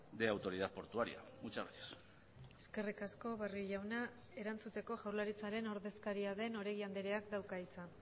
de autoridad portuaria muchas gracias eskerrik asko barrio jauna erantzuteko jaurlaritzaren ordezkaria den oregi andreak dauka hitza